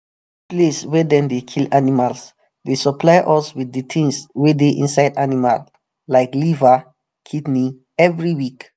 di place wey dem dey kill animal dey supply us wit di tings wey dey inside animal like like liver kidney every week